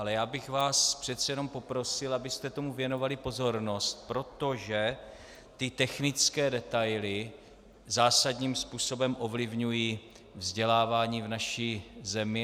Ale já bych vás přece jenom poprosil, abyste tomu věnovali pozornost, protože ty technické detaily zásadním způsobem ovlivňují vzdělávání v naší zemi.